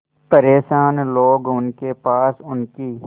परेशान लोग उनके पास उनकी